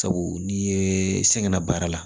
Sabu n'i ye sɛgɛn na baara la